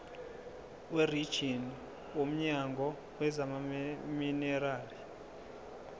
werijini womnyango wezamaminerali